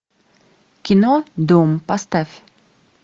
кино дом поставь